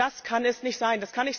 Das kann es nicht sein,